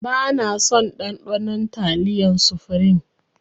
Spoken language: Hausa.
Bana son ɗanɗanon taliyar sufrim